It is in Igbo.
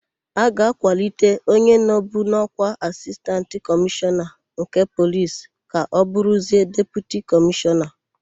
A ga-akwalite onye nọbu n'ọ́kwá Asistantị Kọmishọna nke Polis ka ọ bụrụzie Deputi Kọmishọna.